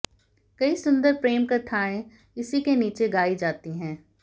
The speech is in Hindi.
कई सुंदर प्रेम कथाएं इसी के नीचे गाई जाती हैं